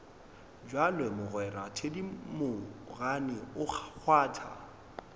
bjalo mogwera thedimogane o kgwatha